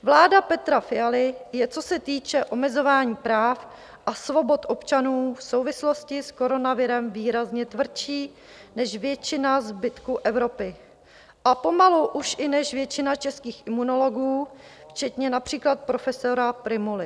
Vláda Petra Fialy je, co se týče omezování práv a svobod občanů v souvislosti s koronavirem, výrazně tvrdší než většina zbytku Evropy a pomalu už i než většina českých imunologů včetně například profesora Prymuly.